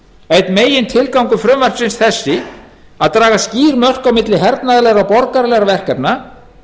einn megintilgangur frumvarpsins sá að draga skýr mörk á milli hernaðarlegra og borgaralegra verkefna